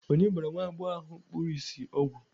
onye gbara nwa agbọghọ ahụ kpuru ìsì ọgwụ